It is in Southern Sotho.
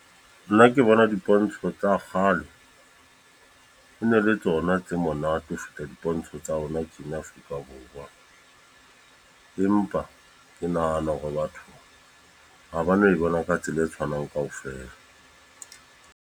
Nna ke bona dipontsho tsa kgale. E ne le tsona tse monate ho feta dipontsho tsa hona tjena Afrika Borwa. Empa ke nahana hore batho ha ba no e bona ka tsela e tshwanang kaofela.